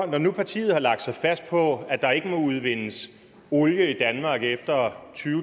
når nu partiet har lagt sig fast på at der ikke må udvindes olie i danmark efter